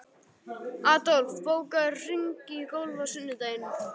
Adolf, bókaðu hring í golf á sunnudaginn.